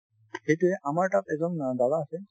সেইটোয়ে আমাৰ তাত এজন অ বাবা আছে